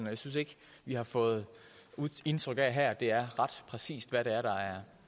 jeg synes ikke vi har fået indtryk af her at det er ret præcist hvad det er der er